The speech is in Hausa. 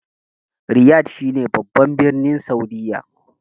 Riyad shi ne babban birnin Saudiyya